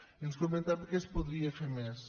i ens comentaven que es podria fer més